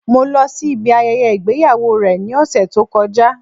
Mo lo sí ibi ayẹyẹ ìgbéyàwó rẹ̀ ní òsẹ̀ tó kọjá